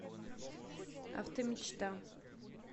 автомечта